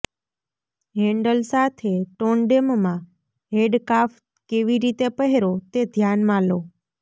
handle સાથે ટોંડેમમાં handcuff કેવી રીતે પહેરો તે ધ્યાનમાં લો